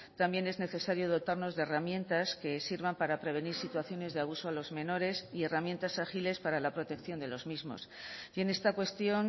también es necesario dotarnos de herramientas que sirvan para prevenir situaciones de abusos a los menores y herramientas ágiles para la protección de los mismos y en esta cuestión